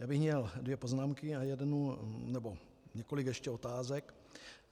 Já bych měl dvě poznámky a jednu nebo několik ještě otázek.